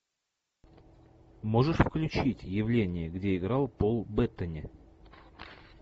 можешь включить явление где играл пол беттани